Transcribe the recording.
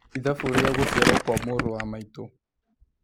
ĩthabũ rĩa gũcĩarwo kwa mũrũ wa maĩtũ